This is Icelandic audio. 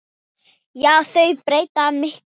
Já, þau breyttu miklu.